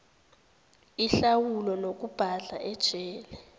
inhlawulo nokubhadla ejele